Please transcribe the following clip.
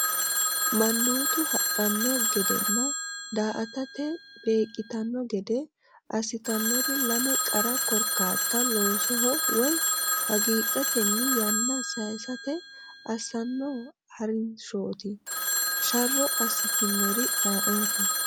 Mannootu hadhanno gedenna daa”atate beeqqitanno gede assitannori lame qara korkaatta loosoho woy hagiidhatenni yanna sayisate assanno ha’rinshooti, sharro assitinori ayeooti?